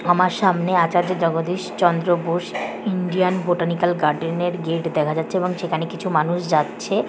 আমার সামনে আচার্য Jagadish Chandra Bose Indian botanical garden -এর গেট দেখা যাচ্ছে এবং সেখানে কিছু মানুষ যাচ্ছে।